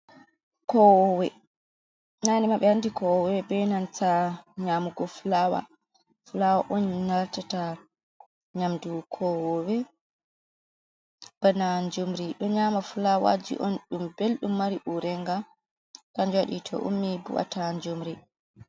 Kowowe nane ma ɓe andi kowowe be nanta nyamugo flawa on latata nyamdu kowowe, bana njumri ɗo nyama flawaji on ɗum beldum mari urenga kanjum waɗi to ummi bu’ata njumri.